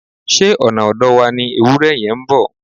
Ṣé ọ̀nà ọ̀dọ̀ wa ni ewúrẹ yẹn ń bọ̀?